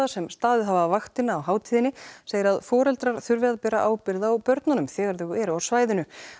sem staðið hafa vaktina á hátíðinni segir að foreldrar þurfi að bera ábyrgð á börnunum þegar þau eru á svæðinu